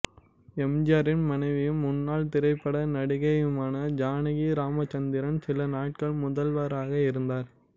எம்ஜியாரின் மனைவியும் முன்னாள் திரைப்பட நடிகையுமான ஜானகி ராமச்சந்திரன் சில நாட்கள் முதல்வராக இருந்தார்